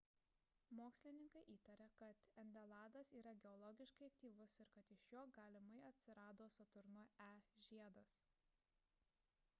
mokslininkai įtaria kad endeladas yra geologiškai aktyvus ir kad iš jo galimai atsirado saturno e žiedas